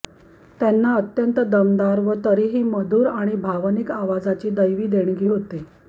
त्यांना अत्यंत दमदार व तरीही मधुर आणि भावनिक आवाजाची दैवी देणगी होती